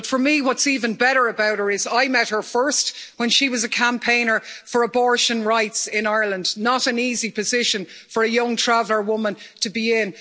But for me, what's even better about her is, I met her first when she was a campaigner for abortion rights in Ireland not an easy position for a young Traveller woman to be in.